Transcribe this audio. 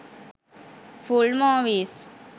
full movies